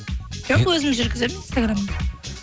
жоқ өзім жүргіземін инстаграмды